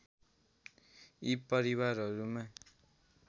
यी परिवारहरूमा